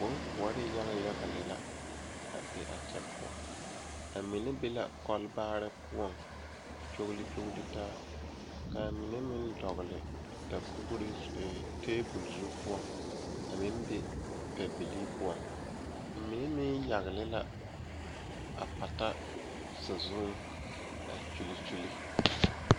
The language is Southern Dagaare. Bonkoɔre yaga yaga lɛ la pɔgeba ane bibiiri la ka bondire a kabɔɔti poɔ ka talaare be a be poɔ kaa kodo vaare meŋ be a be kaa bie kaŋa a iri a pata saazu a Kyuule Kyuule.